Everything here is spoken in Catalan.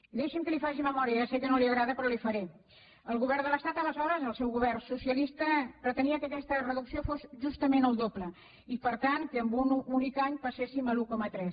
i deixi’m que li faci memòria ja sé que no li agrada però li’n faré el govern de l’estat aleshores el seu govern socialista pretenia que aquesta reducció fos justament el doble i per tant que en un únic any passéssim a l’un coma tres